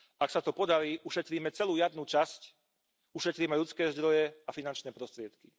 Ak sa to podarí, ušetríme celú jarnú časť, ušetríme ľudské zdroje a finančné prostriedky.